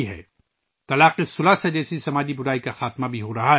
تین طلاق جیسی سماجی برائی بھی ختم ہو رہی ہے